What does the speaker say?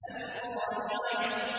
الْقَارِعَةُ